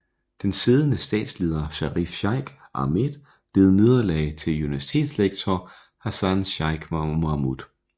Den siddende statsleder Sharif Sheikh Ahmed led nederlag til universitetslektor Hassan Sheikh Mohamud